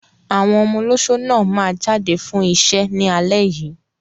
Àwọn ọmọ olóṣó náà máa jáde fún iṣẹ́ ní alẹ́ yìí.